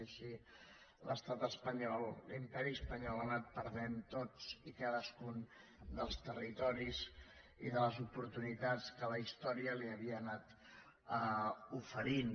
i així l’estat espanyol l’imperi espanyol ha anat perdent tots i cadascun dels territoris i de les oportunitats que la història li havia anat oferint